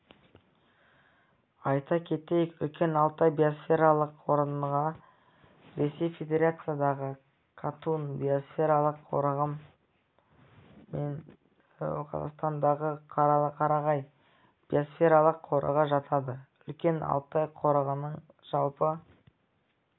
айта кетейік үлкен алтай биосфералық қорығына ресей федерациясындағы катун биосфералық қорығы мен қазақстандағы қарағай биосфералық қорығы жатады үлкен алтай қорығының жалпы